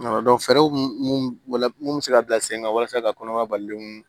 fɛɛrɛw mun be se ka bila sen kan walasa ka kɔnɔbara balilenw